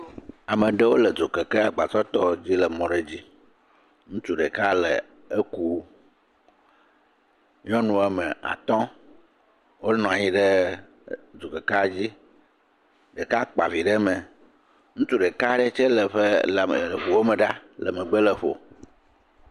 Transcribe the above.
Ame aɖewo le dzo keke, agba tɔtɔ aɖewo le mɔ aɖe dzi. Ŋutsua ɖeka le ekum, nyɔnu atɔ wo nɔ anyi ɖe dzo ɖeka dzi, ɖeka kpa vi ɖe me, ŋutsu ɖeka aɖe tse le eƒe ŋu ɖome le megbe lɔ ƒo.